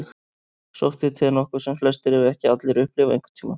Sótthiti er nokkuð sem flestir, ef ekki allir, upplifa einhvern tíma.